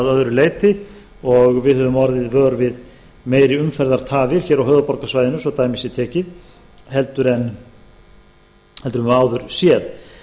öðru leyti og við höfum orðið vör við meiri umferðartafir á höfuðborgarsvæðinu svo dæmi sé tekið heldur en við höfum áður sé